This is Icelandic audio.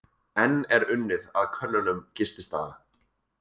Enn er unnið að könnunum gististaða